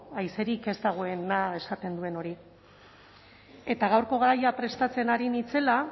haizerik ez dagoena esaten duen hori eta gaurko gaia prestatzen ari nintzela